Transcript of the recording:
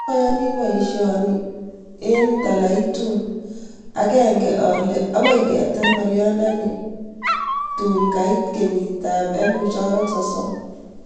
Aiyanii paisiondo ni eng' talaiitun, agangen ale akoi keetar ng'oliondo ni taab koit kenyiit 2030